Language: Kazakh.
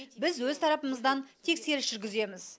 біз өз тарапымыздан тексеріс жүргіземіз